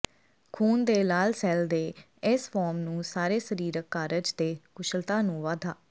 ਖ਼ੂਨ ਦੇ ਲਾਲ ਸੈੱਲ ਦੇ ਇਸ ਫਾਰਮ ਨੂੰ ਸਾਰੇ ਸਰੀਰਕ ਕਾਰਜ ਦੇ ਕੁਸ਼ਲਤਾ ਨੂੰ ਵਧਾ